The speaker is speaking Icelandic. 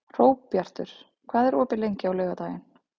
Hróbjartur, hvað er opið lengi á laugardaginn?